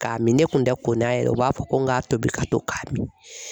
K'a min ne kun tɛ ko n'a ye dɛ , u b'a fɔ ko n ka tobi ka to k'a min.